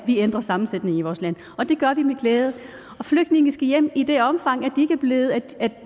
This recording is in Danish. vi ændrer sammensætningen i vores land og det gør vi med glæde flygtninge skal hjem i det omfang